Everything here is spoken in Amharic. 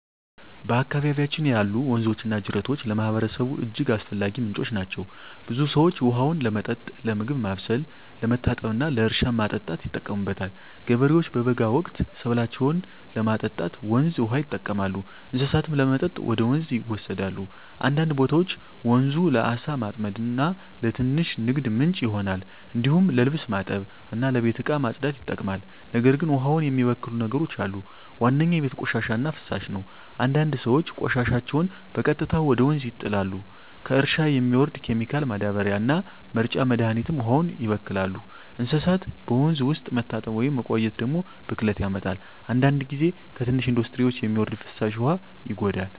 በአካባቢያችን ያሉ ወንዞችና ጅረቶች ለማህበረሰቡ እጅግ አስፈላጊ ምንጮች ናቸው። ብዙ ሰዎች ውሃውን ለመጠጥ፣ ለምግብ ማብሰል፣ ለመታጠብ እና ለእርሻ ማጠጣት ይጠቀሙበታል። ገበሬዎች በበጋ ወቅት ሰብላቸውን ለማጠጣት ወንዝ ውሃ ይጠቀማሉ፣ እንስሳትም ለመጠጥ ወደ ወንዝ ይወሰዳሉ። አንዳንድ ቦታዎች ወንዙ ለዓሣ ማጥመድ እና ለትንሽ ንግድ ምንጭ ይሆናል። እንዲሁም ለልብስ ማጠብ እና ለቤት እቃ ማጽዳት ይጠቅማል። ነገር ግን ውሃውን የሚበክሉ ነገሮች አሉ። ዋነኛው የቤት ቆሻሻ እና ፍሳሽ ነው፤ አንዳንድ ሰዎች ቆሻሻቸውን በቀጥታ ወደ ወንዝ ይጣላሉ። ከእርሻ የሚወርድ ኬሚካል ማዳበሪያ እና መርጫ መድሀኒትም ውሃውን ያበክላሉ። እንስሳት በወንዝ ውስጥ መታጠብ ወይም መቆየት ደግሞ ብክለት ያመጣል። አንዳንድ ጊዜ ከትንሽ ኢንዱስትሪዎች የሚወርድ ፍሳሽ ውሃ ይጎዳል።